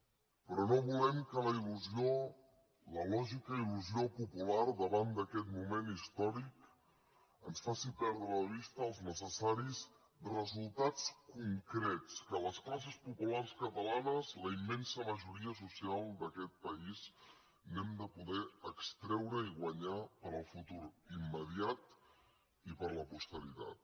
però no volem que la il·pular davant d’aquest moment històric ens faci perdre de vista els necessaris resultats concrets que les classes populars catalanes la immensa majoria social d’aquest país n’hem de poder extreure i guanyar per al futur immediat i per a la posteritat